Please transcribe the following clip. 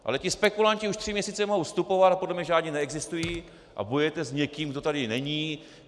Ale ti spekulanti už tři měsíce mohou vstupovat a podle mě žádní neexistují a bojujete s někým, kdo tady není.